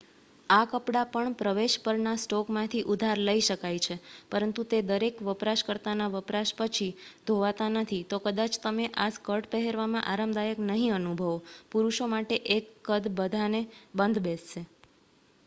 આ કપડાં પણ પ્રવેશ પરના સ્ટોકમાંથી ઉધાર લઈ શકાય છે પરંતુ તે દરેક વપરાશકર્તાના વપરાશ પછી ધોવાતા નથી તો કદાચ તમે આ સ્કર્ટ પહેરવામાં આરામદાયક નહી અનુભવો પુરુષો માટે એક કદ બધાને બંધ બેસશે